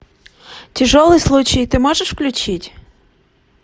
тяжелый случай ты можешь включить